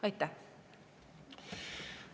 Aitäh!